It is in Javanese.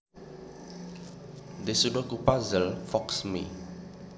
This Sudoku puzzle foxes me